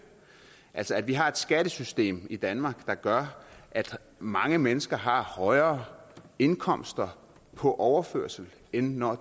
altså at vi har et skattesystem i danmark der gør at mange mennesker har højere indkomster på overførsel end når